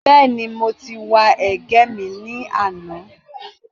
Bẹ́ẹ̀ni, mo wa ẹ̀gẹ́ mi ní àná